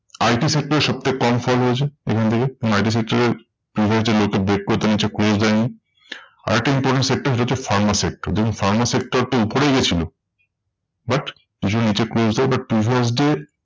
IT sector এর সত্যি কম fall হয়েছে এখান থেকে। এবং IT sector এর previous যে low টা break করে তার নিচে close দেয় নি। আরেকটা important sector সেটা হচ্ছে pharma sector. দেখুন pharma sector টা উপরেই গেছিলো but কিছুটা নিচে close দেয়। but previous day